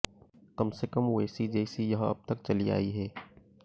कम से कम वैसी जैसी यह अब तक चली आई है